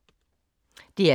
DR K